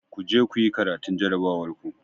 Ku je kuyi karatun jarabawar ku!